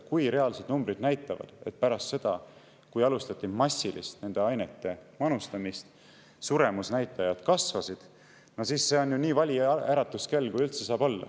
Kui reaalsed numbrid näitavad, et pärast seda, kui alustati massiliselt nende ainete manustamist, suremusnäitajad kasvasid, siis see on ju nii vali äratuskell, kui üldse saab olla.